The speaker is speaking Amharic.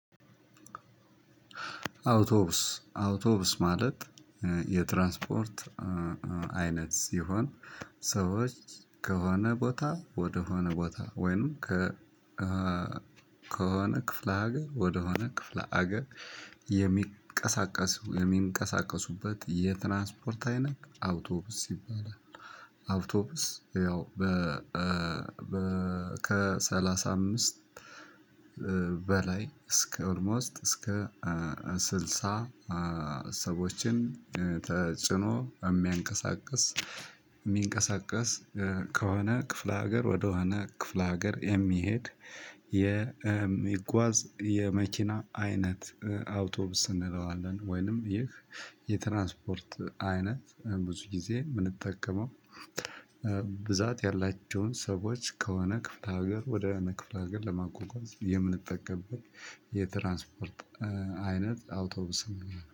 አውቶብስ አውቶብስ ማለት የትራንስፖርት አይነት ሲሆን ሰዎች ከሆነ ቦታ ወደሆነ ቦታ ወይም ከሆነ ክፍለ ሀገር ወደሆነ ክፍለ ሀገር የሚንቀሳቀሱ የሚንቀሳቀሱበት የትራንስፖርት አይነት አውቶብስ ይባላል። አውቶብስ ያው ከሰላስ አምስት በላይ እስከ ኦልሞስት እስከ ስልሳ ሰዎችን ጭኖ የሚያንቀሳቅስ። የሚንቀሳቀስ ከሆነ ክፍለ ሀገር ወደሆነ ክፍለ ሀገር የሚሄድ የሚጓዝ የመኪና አይነት አውቶብስ እንለዋለን። ወይንም ይህ የትራንስፖርት አይነት ብዙ ጊዜ የምንጠቀመው ብዛት ያላቸውን ሰዎች ከሆነ ክፍለ ሀገር ወደ ክፍለ ሀገር ለማጓጓዝ የምንጠቀምበት። የትራንስፖርት አይነት አውቶቡስ።